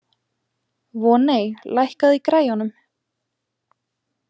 Voney, lækkaðu í græjunum.